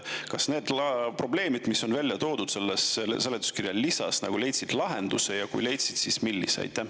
Kas need probleemid, mis on välja toodud selles seletuskirja lisas, leidsid lahenduse, ja kui leidsid, siis millise?